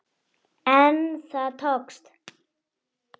En það tókst.